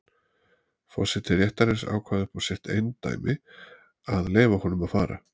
Forseti réttarins ákvað upp á sitt eindæmi að leyfa honum að fara.